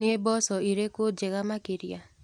Nĩ mboco irĩkũ njega makĩria.